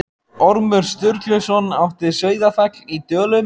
Ormur Sturluson átti Sauðafell í Dölum.